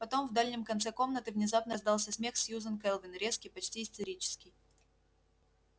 потом в дальнем конце комнаты внезапно раздался смех сьюзен кэлвин резкий почти истерический